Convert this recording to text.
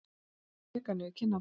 Tárin leka niður kinnarnar.